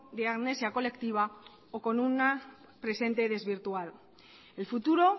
de amnesia colectiva o con un presente desvirtuado el futuro